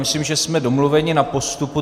Myslím, že jsme domluveni na postupu.